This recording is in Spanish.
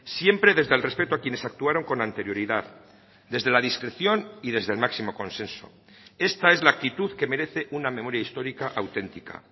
siempre desde el respeto a quienes actuaron con anterioridad desde la discreción y desde el máximo consenso esta es la actitud que merece una memoria histórica auténtica